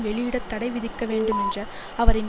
வெளியிட தடை விதிக்கவேண்டும் என்ற அவரின்